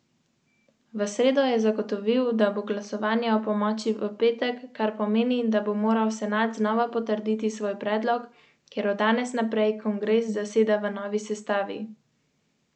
Še vedno se veliko prisega na klasične pasice.